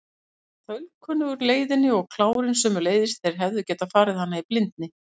Hann var þaulkunnugur leiðinni og klárinn sömuleiðis, þeir hefðu getað farið hana í blindni.